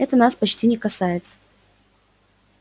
нас это почти не касается